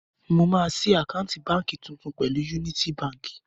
Mo máa ṣí àkáǹtì báǹkì tuntun pẹ̀lú Yúnítí baǹkì.